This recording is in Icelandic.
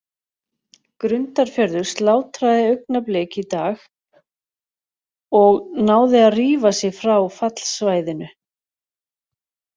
Grundarfjörður slátraði Augnablik í dag og náði að rífa sig frá fallsvæðinu.